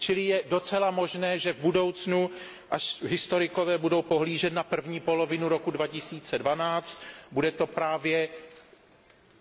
Je docela možné, že v budoucnu, až historikové budou pohlížet na první polovinu roku 2012, bude to právě